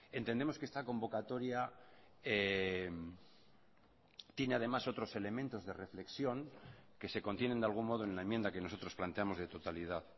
entendemos que esta convocatoria tiene además otros elementos de reflexión que se contienen de algún modo en la enmienda que nosotros planteamos de totalidad